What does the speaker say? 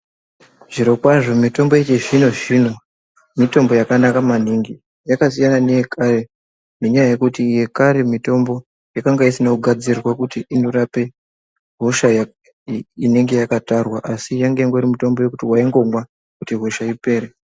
Zvirokwazvo mitombo yechizvinozvino mitombo yakanaka maningi yakasiyana neye kare nenyaya yekuti yekare mitombo yakanga isina kugadzirirwe kuti inorape hosha inenge yakatarwa asi yanga ingori mutombo yekuti waingomwa kuti hosha ipere.